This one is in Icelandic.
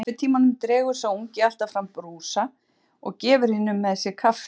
Í kaffitímanum dregur sá ungi alltaf fram brúsa og gefur hinum með sér kaffi.